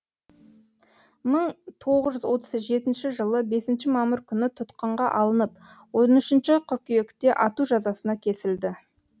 мың тоғыз жүз отыз жетінші жылы бесінші мамыр күні тұтқынға алынып он үшінші қыркүйекте ату жазасына кесілді